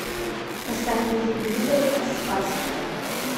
поставь на телевизоре спас